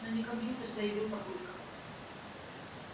но не компьютер заявил папулька